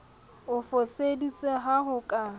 o foseditseng ha ho ka